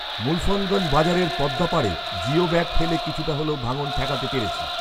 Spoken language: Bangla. মূলফৎগঞ্জ বাজারের পদ্মা পাড়ে জিও ব্যাগ ফেলে কিছুটা হলেও ভাঙন ঠেকাতে পেরেছি